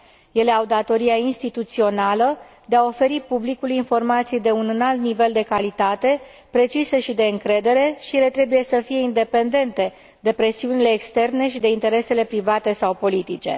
Ele au datoria instituțională de a oferi publicului informații de un înalt nivel de calitate, precise și de încredere, și ele trebuie să fie independente de presiunile externe și de interesele private sau politice.